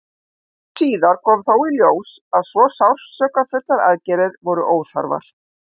nokkru síðar kom þó í ljós að svo sársaukafullar aðgerðir voru óþarfar